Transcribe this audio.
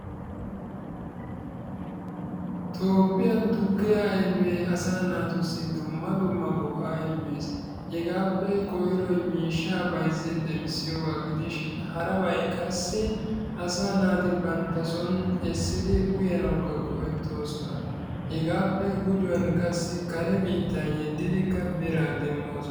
toophiyan tukkiya ayfee asaa naatussi dumma dumma go'aa immees, hegaappe koyroy miishshaa bayzzin demmisiyoogaa gidishin harabay qassi asaa naati banta soni uyanaawukka go'ettoosona. hegaappe gujjuwan qassi kare biitta yeddidikka biraa demoosona.